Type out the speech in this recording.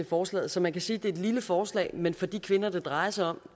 forslaget så man kan sige at det er et lille forslag men for de kvinder det drejer sig om